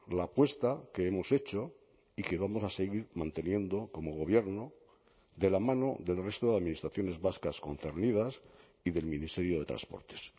la apuesta que hemos hecho y que vamos a seguir manteniendo como gobierno de la mano del resto de administraciones vascas concernidas y del ministerio de transportes